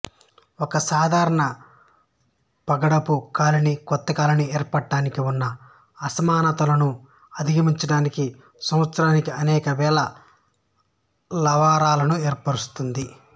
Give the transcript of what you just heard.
ఒక సాధారణ పగడపు కాలనీ కొత్త కాలనీ ఏర్పడటానికి ఉన్న అసమానతలను అధిగమించడానికి సంవత్సరానికి అనేక వేల లార్వాలను ఏర్పరుస్తుంది